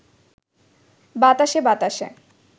বাতাসে বাতাসে